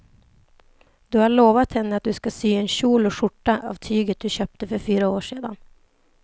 Du har lovat henne att du ska sy en kjol och skjorta av tyget du köpte för fyra år sedan.